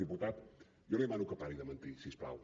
diputat jo li demano que pari de mentir si us plau